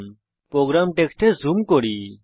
আমি প্রোগ্রাম টেক্সটে জুম করি